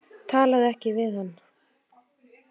Talaðu ekki við hann.